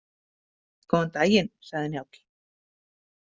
Góðan daginn, sagði Njáll.